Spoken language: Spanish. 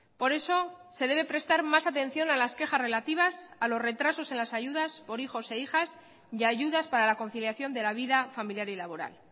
por eso se debe prestar más atención a las quejas relativas a los retrasos en las ayudas por hijos e hijas y ayudas para la conciliación de la vida familiar y laboral